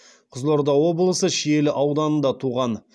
қызылорда облысы шиелі ауданында туған